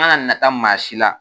N kana nata maa si la